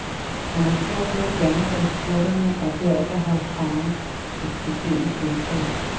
Han har svært ved at blande sig i spurterne, og derfor har parret et beskedent pointtal.